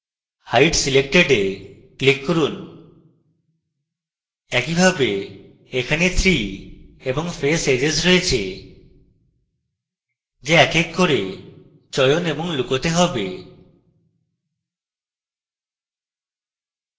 hide selected we click করুন একইভাবে এখানে 3 এবং face edges রয়েছে যা এক এক করে চয়ন এবং লুকোতে হবে